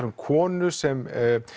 um konu sem